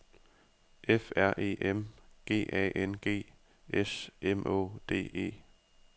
F R E M G A N G S M Å D E